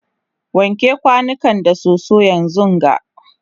wanke kwanukan da soso yanzunga!